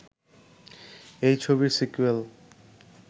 এই ছবির সিকোয়েল